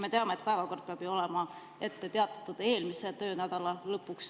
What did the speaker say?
Me teame, et päevakord peab olema ette teatatud eelmise töönädala lõpuks.